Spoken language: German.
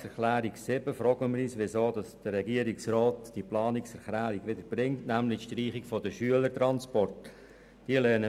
Bei der Planungserklärung 7 fragen wir uns, weshalb der Regierungsrat die Massnahme zur Streichung der Schülertransporte wieder vorschlägt.